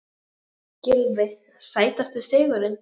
Gylfi Sætasti sigurinn?